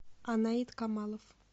анаит камалов